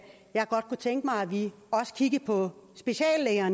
jeg godt kunne tænke mig at vi også kiggede på speciallæger